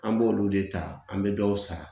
An b'olu de ta an bɛ dɔw sara